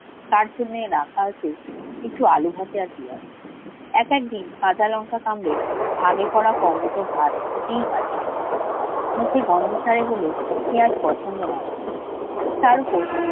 তার জন্যে রাখা আছে একটু আলু ভাতে আর পেঁয়াজ ।একদিন কাঁচা লঙ্কা কামড়ে ভাগে পড়া কোমোটো ভাত খেতে হয় কুমুকে। মুখে গন্ধ ছাড়ে বলে পেয়াজ পছন্দ নয় ওর তারপর